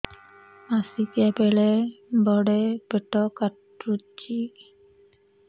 ମାସିକିଆ ବେଳେ ବଡେ ପେଟ କାଟୁଚି